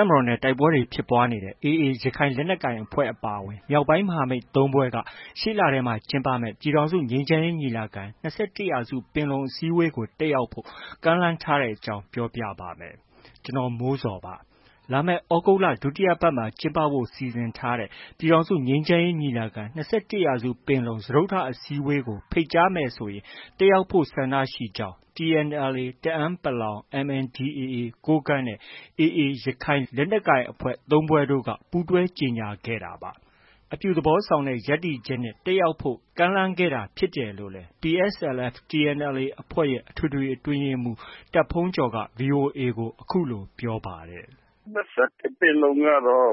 ပ်မတော်နဲ့ တိုက်ပွဲတွေ ဖြစ်ပွားနေတဲ့ AA ရခိုင်လက်နက်ကိုင်အဖွဲ့အပါအဝင် မြောက်ပိုင်း မဟာမိတ် ၃ ဖွဲ့က ရှေ့လထဲ ကျင်းပမယ့် ပြည်ထောင်စုငြိမ်းချမ်းရေးညီလာခံ - ၂၁ရာစုပင်လုံအစည်းအဝေးကို တက်ရောက်ဖို့ ကမ်းလှမ်းထားတဲ့အကြောင်းကို ဗွီအိုအေမြန်မာပိုင်းသတင်းထောက် ကိုမိုးဇော်က ပြောပြပေးပါမယ်။ လာမယ့် သြဂုတ်လ ဒုတိယပတ်မှာ ကျင်းပဖို့ စီစဉ်ထားတဲ့ ပြည်ထောင်စုငြိမ်းချမ်းရေးညီလာခံ- ၂၁ ရာစု ပင်လုံ စတုတ္ထအစည်းအဝေးကို ဖိတ်ကြားမယ်ဆိုရင် တက်ရောက်ဖို့ ဆန္ဒရှိကြောင်း TNLA တအန်းပလောင်၊ MNDA ကိုးကန့်နဲ့ AA ရခိုင်လက်နက်ကိုင်အဖွဲ့ သုံး ဖွဲ့တို့ ပူးတွဲ ကြေညာခဲ့ကြတာပါ။ အပြုသဘောဆောင်တဲ့ ရပ်တည်ချက်နဲ့ တက်ရောက်လိုကြောင်း ကမ်းလှမ်းခဲ့တာ ဖြစ်တယ်လို့လည်း PSLF/TNLA အဖွဲ့ရဲ့ အထွေထွေအတွင်းရေးမှုး တာ့ဘုန်းကျော်က VOA ကို အခုလို ပြောဆိုပါတယ်။ “၂၁ ပင်လုံကတော့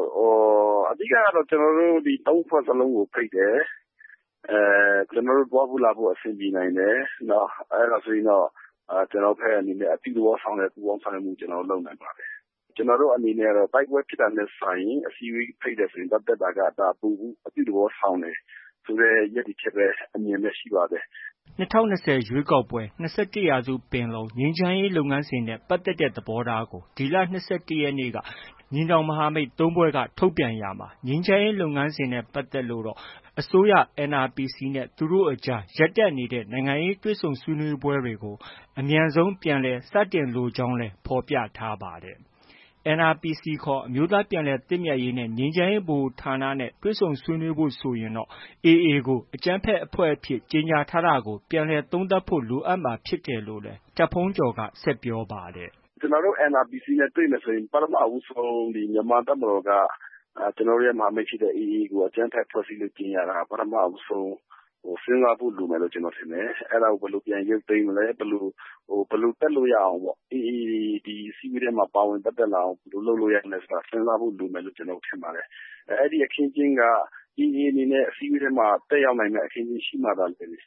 အဓိကကတော့ ကျနော်တို့ သုံး ဖွဲ့လုံးကို ဖိတ်တယ်။ ကျနော်တို့ သွားဖို့လာဖို့ အဆင်ပြေနိုင်တယ်။ အဲဒါဆိုရင်တော့ ကျနော်တို့ဘက်က အပြုသဘောဆောင်တဲ့ ပူးပေါင်းဆောင်ရွက်မှု ကျနော်တို့ လုပ်နိုင်ပါတယ်။ ကျနော်တို့အနေနဲ့ကတော့ တိုက်ပွဲဖြစ်တာထက်စာရင် အစည်းအဝေးဖိတ်တယ်ဆိုရင် သွားတက်တာက ဒါက ပိုပြီး အပြုသဘောဆောင်တယ်ဆိုတဲ့ ရပ်တည်ချက်ပဲ၊ အမြင်ပဲ ရှိပါတယ်။” ၂၀၂၀ ရွေးကောက်ပွဲ၊ ၂၁ရာစုပင်လုံ၊ ငြိမ်းချမ်းရေးလုပ်ငန်းစဉ်နဲ့ ပတ်သက်တဲ့သဘောထားကို ညီနောင်မဟာမိတ် သုံး ဖွဲ့က ဒီလ ၂၁ရက်နေ့က ထုတ်ပြန်ရာမှာ ငြိမ်းချမ်းရေးလုပ်ငန်းစဉ်နဲ့ ပတ်သက်လို့တော့ အစိုးရ NRPC နဲ့ သူတို့အကြား ရပ်တန့်နေတဲ့ နိုင်ငံရေးတွေ့ဆုံဆွေးနွေးပွဲတွေကို အမြန်ဆုံးပြန်လည် စတင်လိုကြောင်းလည်း ဖော်ပြထားပါတယ်။ NRPC ခေါ် အမျိုးသားပြန်လည်သင့်မြတ်ရေးနဲ့ ငြိမ်းချမ်းရေး ဗဟိုဌာနနဲ့ တွေ့ဆုံဆွေးနွေးဖို့ဆိုရင်တော့ AA ကို အကြမ်းဖက်အဖွဲ့အဖြစ် ကြေညာထားတာကို ပြန်လည်သုံးသပ်ဖို့ လိုအပ်မှာဖြစ်တယ်လို့လည်း တာ့ဘုန်းကျော်က ပြောပါတယ်။ “ကျနော်တို့ NRPC နဲ့ တွေ့မယ်ဆိုရင် ပထမဦးဆုံး ဒီ မြန်မာ့တပ်မတော်က ကျနော်တို့ မဟာမိတ်အဖွဲ့ဖြစ်တဲ့ AA ကို အကြမ်းဖက်အဖွဲ့အစည်းအဖြစ် ကြေညာတာ ပထမဦးဆုံး စဉ်းစားဖို့ လိုမယ်လို့ ကျနော်ထင်တယ်။ အဲဒါကို ဘယ်လို ပြန်ရုပ်သိမ်းမလဲ။ ဘယ်လို တက်လို့ ရအောင်ပေါ့။ AA ဒီအစည်းအဝေးထဲမှာ ပါဝင် ပတ်သက်လာအောင် စဉ်းစားဖို့လိုမယ်လို့ ကျနော်ထင်ပါတယ်။ အဲဒီအခင်းအကျင်းက AA အနေနဲ့ တက်ရောက်နိုင်တဲ့ အခင်းအကျင်းရှိမှသာလျှင်၊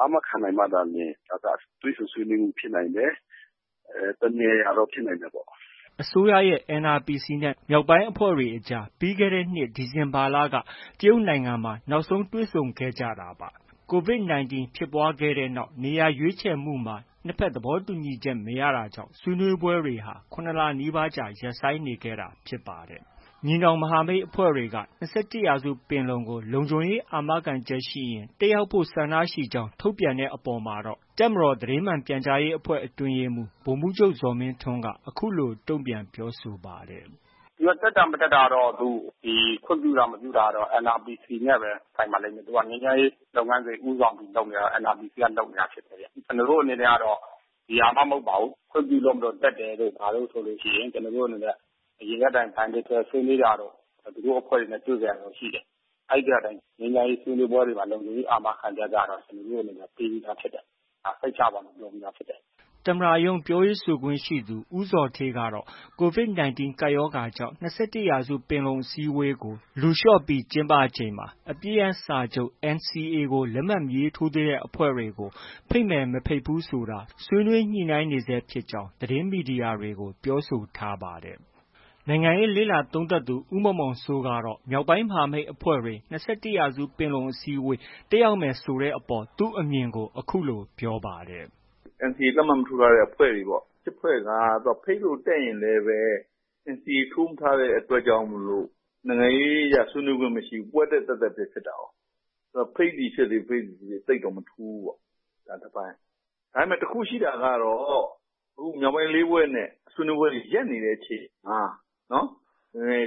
အာမခံနိုင်မှသာလျှင် ဒါက တွေ့ဆုံဆွေးနွေးမှုဖြစ်နိုင်တယ်။ တစ်နေရာရာတော့ ဖြစ်နိုင်တယ်ပေါ့။” အစိုးရရဲ့ NRPC နဲ့ မြောက်ပိုင်းအဖွဲ့တွေအကြား ပြီးခဲ့တဲ့နှစ် ဒီဇင်ဘာလက တရုတ်နိုင်ငံမှာ နောက်ဆုံးတွေ့ဆုံခဲ့တာဖြစ်ပါ။ COVID 19 ဖြစ်ပွားလာတဲ့နောက်မှာ နေရာရွေးခြယ်မှုမှာ နှစ်ဘက်သဘောတူညီချက် မရတာကြောင့် ဆွေးနွေးပွဲတွေဟာ ၇ လနီးပါးကြာ ရပ်ဆိုင်းနေခဲ့တာဖြစ်ပါတယ်။ ညီနောင်မဟာမိတ်အဖွဲ့တွေက ၂၁ ရာစုပင်လုံကို လုံခြုံရေးအာမခံချက်ရှိရင် တက်ရောက်ဖို့ ဆန္ဒရှိကြောင်း ထုတ်ပြန်တဲ့အပေါ်မှာတော့ တပ်မတော်သတင်းမှန်ပြန်ကြားရေးအဖွဲ့ အတွင်းရေးမှုး ဗိုလ်မှုးချုပ်ဇော်မင်းထွန်းက အခုလို တုံပြန်ပြောဆိုပါတယ်။ “သူတက်တာ မတက်တာကတော့ ဒီ ခွင့်ပြုတာ မပြုတာကတော့ NRPC နဲ့ပဲ ဆိုင်ပါလိမ့်မယ်။ သူက ငြိမ်းချမ်းရေးလုပ်ငန်းစဉ် ဦးဆောင်ပြီးလုပ်နေတာ NRPC ကပဲ ဦးဆောင်ပြီး လုပ်နေတာဖြစ်တယ်။ ကျနော်တို့အနေနဲ့ကတော့ ဒီဟာမှ မဟုတ်ပါဘူး။ ခွင့်ပြုလို့မို့ တက်တယ်တို့ ဘာတို့ဆိုရင် ကျနော်တို့အနေနဲ့က Bilateral ဆွေးနွေးတာတို့ သူတို့အဖွဲ့တွေနဲ့ တွေ့ခဲ့တာတော့ရှိတယ်။ အဲဒီထဲကအတိုင်း ဒီ ငြိမ်းချမ်းရေးဆွေးနွေးပွဲတွေမှာ လုံခြုံရေးအာမခံချက်က ကျနော်တို့အနေနဲ့က ပေးပြီးသားဖြစ်တယ်။ စိတ်ချပါလို့ ပြောပြီးသားဖြစ်တယ်။” သမ္မတရုံးပြောရေးဆိုခွင့်ရှိသူ ဦးဇော်ဌေးကတော့ COVID 19 ကပ်ရောဂါကြောင့် ၂၁ ပင်လုံအစည်းအဝေးကို လူလျှော့ပြီး ကျင်းပချိန်မှာ အပစ်ရပ်စာချုပ် NCA ကို လက်မှတ်မထိုးသေးတဲ့အဖွဲ့တွေကို ဖိတ်မယ်၊ မဖိတ်ဘူးဆိုတာ ညှိနှိုင်းနေဆဲဖြစ်ကြောင်း သတင်းမီဒီယာတွေကို ပြောဆိုထားပါတယ်။ နိုင်ငံရေးလေ့လာသုံးသပ်သူ ဦးမောင်မောင်စိုးကတော့ မြောက်ပိုင်းမဟာမိတ်အဖွဲ့တွေ ၂၁ ပင်လုံ အစည်းအဝေး တက်ရောက်မယ်ဆိုတဲ့အပေါ် သူ့အမြင်ကို အခုလို ပြောပါတယ်။ “NCA လက်မှတ် မထိုးထားတဲ့အဖွဲ့ ရှစ် ဖွဲ့က သူက ဖိတ်လို့ တက်ရင်လည်းပဲ NCA ထိုးမထားတဲ့အတွက်ကြောင့် နိုင်ငံရေးအရ ဆွေးနွေးခွင့်မရှိဘူး။ ပွဲတက် သက်သက်ပဲ ဖြစ်တာကိုး။ အဲတော့ ဖိတ်သည်ဖြစ်စေ၊ မဖိတ်သည်ဖြစ်စေ သိပ်တော့ မထူးဘူးပေါ့။ ဒါက တစ်ပိုင်း၊ ဒါပေမဲ့ တစ်ခု ရှိတာကတော့ အခု မြောက်ပိုင်း လေး ဖွဲ့နဲ့ ဆွေးနွေးပွဲတွေ ရပ်နေတဲ့အချိန်မှာ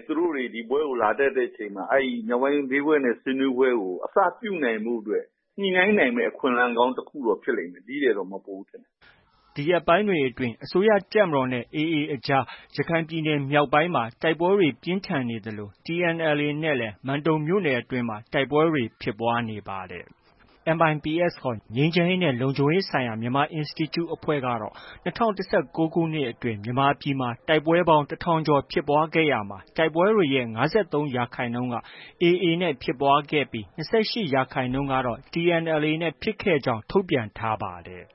သူတို့တွေ ဒီပွဲကို လာတက်တဲ့အချိန်မှာ အဲဒီမြောက်ပိုင်း လေး ဖွဲ့နဲ့ ဆွေးနွေးပွဲကို အစပြုနိုင်ဖို့အတွက် ညှိနှိုင်းနိုင်မယ့် အခွင့်အလမ်းကောင်း တစ်ခုတော့ဖြစ်လိမ့်မယ်။ ဒီထက်တော့ မပိုဘူး ထင်ပါတယ်။” ဒီရက်ပိုင်းတွေအတွင်း အစိုးရတပ်မတော်နဲ့ AA အဖဲ့ွ အကြား ရခိုင်ပြည်နယ်မြောက်ပိုင်းမှာ တိုက်ပွဲတွေ ပြင်းထန်နေသလို TNLA အဖွဲ့နဲ့လည်း မန်တုံမြို့နယ်အတွင်းမှာ တိုက်ပွဲ တွေ ဖြစ်ပွားနေပါတယ်။ MIPS ခေါ် ငြိမ်းချမ်းရေးနဲ့ လုံခြုံရေးဆိုင်ရာ မြန်မာအင်စတီကျူအဖွဲ့ကတော့ ၂၀၁၉ ခုနှစ်အတွင်း မြန်မာပြည်မှာ တိုက်ပွဲပေါင်း ၁,၀၀၀ ကျော်ဖြစ်ခဲ့ရာမှာ တိုက်ပွဲတွေရဲ့ ၅၃ ရာခိုင်နှုန်းက AA နဲ့ ဖြစ်ပွားခဲ့ပြီး ၂၈ ရာခိုင်နှုန်းကတော့ TNLA နဲ့ ဖြစ်ခဲ့ကြောင်း ထုတ်ပြန်ခဲ့ပါတယ်။